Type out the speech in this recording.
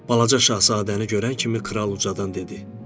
Balaca Şahzadəni görən kimi kral ucadan dedi.